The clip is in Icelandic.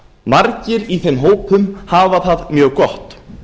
margir í þeim hópum hafa það mjög gott